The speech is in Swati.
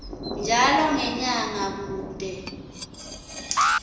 njalo ngenyanga kute